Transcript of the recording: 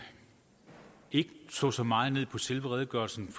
ikke slå så meget ned på selve redegørelserne